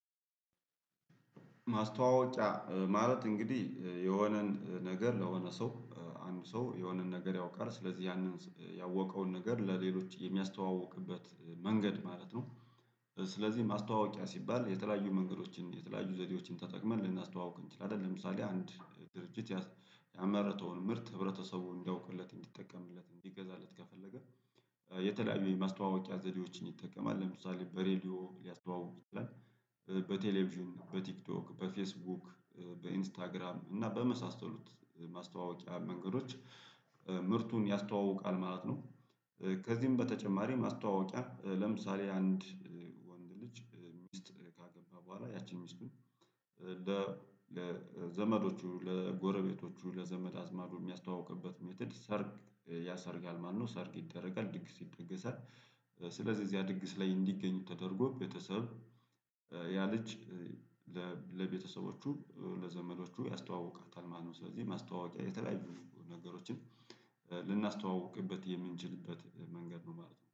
ማስተዋወቂያ እ ማለት እንግዲህ እ የሆነን ነገር ለሆነ ሰው እ አንድ ሰው የሆነን ነገር ያውቃል ስለዚህ ያንን ያወቀውን ነገር ለሌሎች የሚያስተዋውቅበት መንገድ ማለት ነው። ስለዚህ ማስታወቂያ ሲባል የተለያዩ መንገዶችን የተለያዩ ዘዴዎችን ተጠቅመን ልናስተዋውቅ እንችላለን ለምሳሌ አንድ ድርጅት ያስ ያመረተውን ምርት ህብረተሰቡን እንዲያውቁለት እንዲጠቀምለት እንዲገዛለት ከፈለገ። የተለያዩ የማስተዋወቂያ ዘዴዎችን ይጠቀማል ለምሳሌ በሬዲዮ ሊያስተዋውቁት ይችላል። በቴሌቪዥን በቲክቶክ በፌስቡክ በኢንስታግራም እና በመሳሰሉት ማስተዋወቂያ መንገዶች እ ምርቱን ያስተዋውቃል ማለት ነው። ከዚህም በተጨማሪም ማስተዋወቂያ ለምሳሌ አንድ ወንድ ልጅ ሚስት ካገባ በኋላ ያቺን ሚስቱን ለዘመዶቹ ለጎረቤቶቹ ለዘመድ አዝማዱ የሚያስተዋውቅበት ሜተድ ሰርግ ያሰርጋል ማለት ነው ሰርግ ይደረጋል ድግስ ይደገሳል። ስለዚህ እዚያ ድግስ ላይ እንዲገኙ ተደርጎ ቤተሰብ እ ያለ ልጅ ለቤተሰቦቹ ለዘመዶቹ ያስተዋውቃታል ማለት ነው። ስለዚህ ማስተዋወቂያ የተለያዩ ነገሮችን እ ልናስተዋውቅበት የምንችልበት መንገድ ነው ማለት ነው